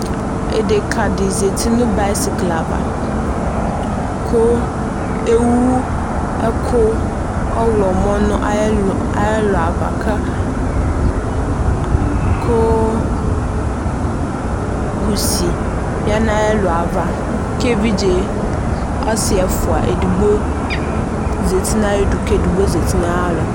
Ɛdeka de zati no bayisikle ava ko ewu ɛko ɔwlɔmɔ no ayelu, ayelu ava ka koo kusi ya no ayeku ava ke evidze ɔse ɛfua edigbo zati na ayedu ke edigbo zati na yalɔ